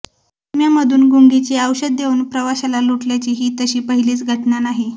उपम्यामधून गुंगीचे औषध देऊन प्रवाशाला लुटल्याची ही तशी पहिलीच घटना नाही